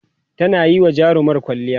tana Yi wa jarumar kwalliya